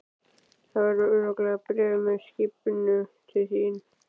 Það verður örugglega bréf með skipinu til þín.